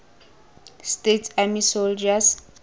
states army soldiers